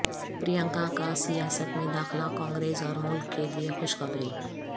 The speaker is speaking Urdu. پرینکا کا سیاست میں داخلہ کانگریس اور ملک کیلئے خوشخبری